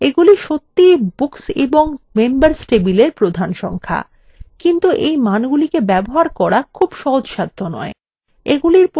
এগুলি সত্যিই books এবং members table প্রধান সংখ্যা কিন্তু এই মানগুলিকে ব্যবহার করা খুব সহজসাধ্য নয়